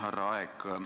Härra Aeg!